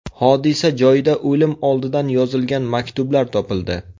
Hodisa joyida o‘lim oldidan yozilgan maktublar topildi.